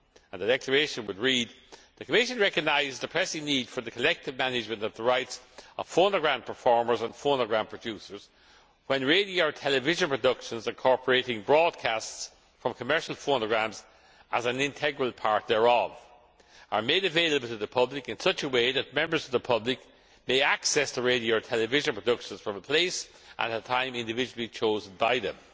The declaration would read The Commission recognises the pressing need for the collective management of the rights of phonogram performers and phonogram producers when radio or television productions incorporating broadcasts from commercial phonograms as an integral part thereof are made available to the public in such a way that members of the public may access the radio or television productions from a place and at a time individually chosen by